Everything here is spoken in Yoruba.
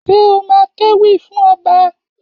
Ṣé o má kéwì fún ọba?